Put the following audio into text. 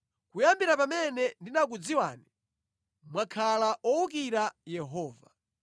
Kuyambira pamene ndinakudziwani, mwakhala owukira Yehova.